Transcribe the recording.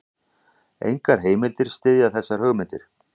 Engar heimildir styðja þessar hugmyndir.